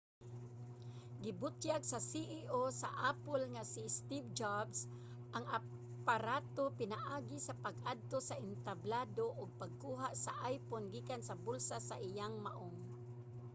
gibutyag sa ceo sa apple nga si steve jobs ang aparato pinaagi sa pag-adto sa entablado ug pagkuha sa iphone gikan sa bulsa sa iyang maong